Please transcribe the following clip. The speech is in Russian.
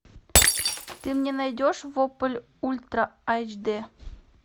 ты мне найдешь вопль ультра айч д